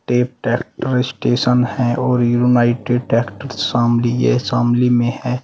एक tractor station है और यूनाइटेड ट्रैक्टर शामली ये शामली में है।